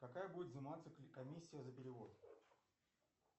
какая будет взиматься комиссия за перевод